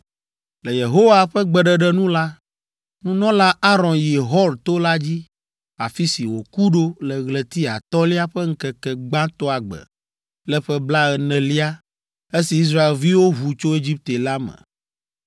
Le Yehowa ƒe gbeɖeɖe nu la, Nunɔla Aron yi Hor to la dzi, afi si wòku ɖo le ɣleti atɔ̃lia ƒe ŋkeke gbãtɔa gbe le ƒe blaenelia, esi Israelviwo ʋu tso Egipte la me.